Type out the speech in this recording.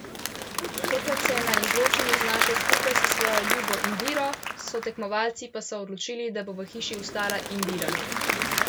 Tokrat se je na izločanju znašel skupaj s svojo ljubo Indiro, sotekmovalci pa so odločili, da bo v hiši ostala Indira.